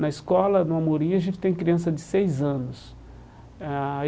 Na escola, no Amorim, a gente tem criança de seis anos eh ah.